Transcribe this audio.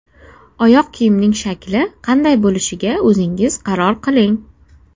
Oyoq kiyimning shakli qanday bo‘lishiga o‘zingiz qaror qiling.